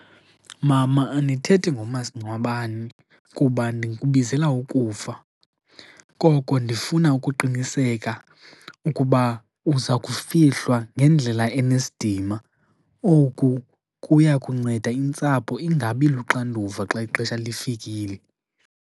Mama, andithethi ngomasingcwabane kuba ndikubizela ukufa. Koko ndifuna ukuqiniseka ukuba uza kufihlwa ngendlela enesidima. Oku kuya kunceda intsapho ingabi luxanduva xa ixesha lifikile.